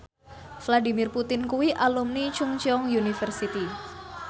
Vladimir Putin kuwi alumni Chungceong University